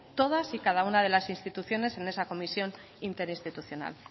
todas y cada una de las instituciones en esa comisión interinstitucional